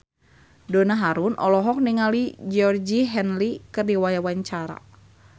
Donna Harun olohok ningali Georgie Henley keur diwawancara